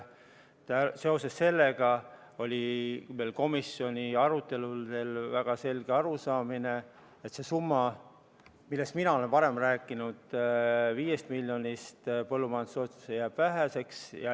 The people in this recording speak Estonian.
Seetõttu oli meil komisjoni arutelul väga selge arusaamine, et sellest summast, millest mina olen varem rääkinud, viis miljonit põllumajandustoetuseks, jääb väheseks.